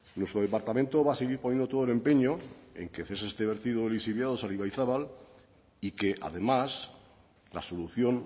nuestro departamento va a seguir poniendo todo el empeño en que cese este vertido de lixiviados al ibaizabal y que además la solución